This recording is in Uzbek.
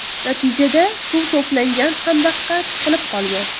Natijada suv to‘plangan xandaqqa tiqilib qolgan.